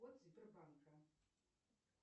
код сбербанка